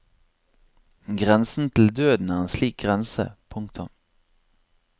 Grensen til døden er en slik grense. punktum